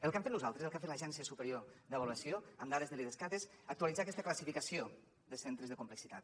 el que hem fet nosaltres el que ha fet l’agència superior d’avaluació amb dades de l’idescat és actualitzar aquesta classificació de centres de complexitat